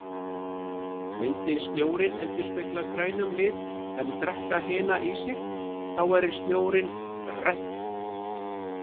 Myndi snjórinn endurspegla grænum lit en drekka hina í sig, þá væri snjórinn grænn.